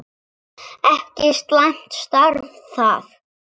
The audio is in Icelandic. Ekki slæmt starf það!